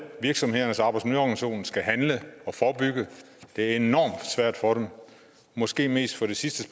virksomhedernes arbejdsmiljøorganisation skal handle og forebygge det er enormt svært for dem og måske mest for det sidste